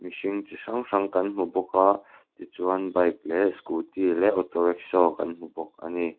mihring chi hrang hrang kan hmu bawk a ti chuan bike leh scooty leh auto rickshaw kan hmu bawk a ni.